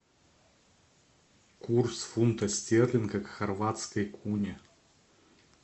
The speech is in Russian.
курс фунта стерлинга к хорватской куне